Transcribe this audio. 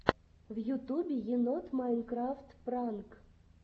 в ютубе енот майнкрафт пранк